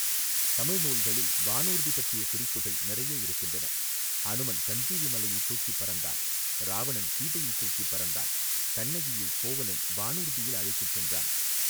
தமிழ் நூல்களில் வானூர்தி பற்றிய குறிப்புகள் நெறைய இருக்கின்றன அனுமன் சஞ்சீவி மலையைத் தூக்கிப்பறந்தான் இராவணன் சீதையைத் தூக்கிப் பறந்தான் கண்ணகியை கோவலன் வானூர்தியில் அழைத்துச் சென்றான்.